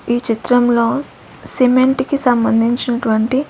ఈ చిత్రంలో సిమెంట్ కి సంబంధించినటువంటి.